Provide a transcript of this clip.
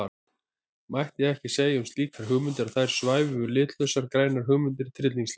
Mætti ekki segja um slíkar hugmyndir að þar svæfu litlausar grænar hugmyndir tryllingslega?